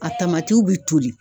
A tamatiw bi toli.